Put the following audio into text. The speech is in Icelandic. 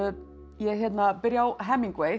ég byrja á